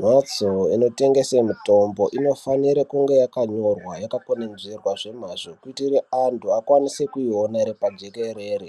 Mhatso inotengese mitombo inofanira kunge yakanyorwa yakakwenenzverwa zvemazvo kuitire antu akwanise kuiona iri pajekerere